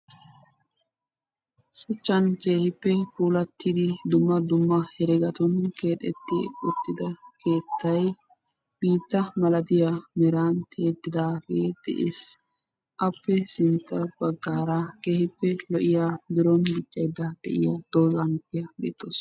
Shuchchan keehippe puulattidi dumma dumma heeratun keexetti uttida keettay biitta malatiya meran tiyettidaagee de'ees. Appe sintta baggaara keehippe lo''iya biron diccaydda de'iya doozza mittiya beettawusu.